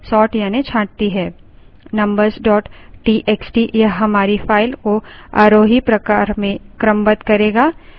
numbers txt यह हमारी file को आरोही प्रकार में क्रमबद्ध करेगा